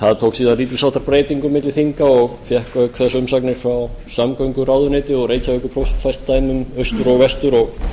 það tók síðan lítils háttar breytingum milli þinga og fékk auk þess umsagnir frá samgönguráðuneyti og reykjavíkurprófastsdæmum austur og vestur og má